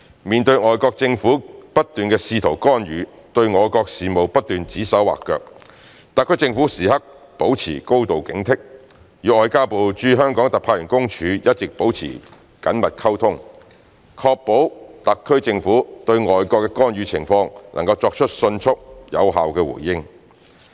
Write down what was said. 面對外國政府不斷的試圖干預，對我國事務不斷指手劃腳，特區政府時刻保持高度警惕，與外交部駐香港特派員公署一直保持緊密溝通，確保特區政府對外國的干預情況能夠作出迅速、有效的回應。